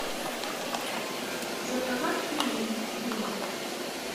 заказать пельмени дымов